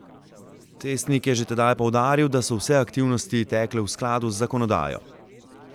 Cestnik je že tedaj poudaril, da so vse aktivnosti tekle v skladu z zakonodajo.